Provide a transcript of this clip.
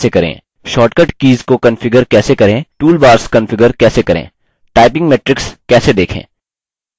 shortcut keys को configure कैसे करें toolbars configure कैसे करें typing metrics कैसे देखें